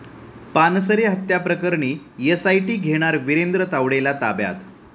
पानसरे हत्येप्रकरणी एसआयटी घेणार विरेंद्र तावडेला ताब्यात?